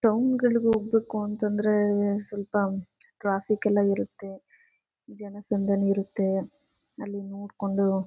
town ಗಳಿಗೆ ಹೋಗ್ಬೇಕು ಅಂತಂದ್ರೆ ಸ್ವಲ್ಪ ಟ್ರಾಫಿಕ್ ಎಲ್ಲ ಇರುತ್ತೆ ಜನ ಸಂದಣಿ ಇರುತ್ತೆ ಅಲ್ಲಿ ನೋಡ್ಕೊಂಡು--